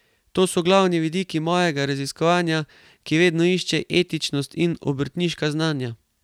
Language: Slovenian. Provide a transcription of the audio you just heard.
To so glavni vidiki mojega raziskovanja, ki vedno išče etičnost in obrtniška znanja.